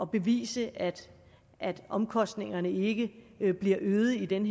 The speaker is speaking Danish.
bevise at omkostningerne ikke bliver øget i den